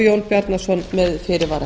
þessu með fyrirvara